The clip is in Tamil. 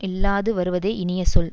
இல்லாது வருவதே இனிய சொல்